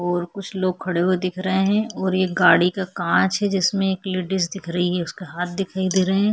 और कुछ लोग खड़े हुए दिख रहे है और एक गाड़ी का कांच है जिसमें एक लेडिस दिख रही है उसका हाथ दिखाई दे रहे है।